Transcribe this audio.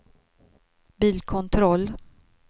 bilkontroll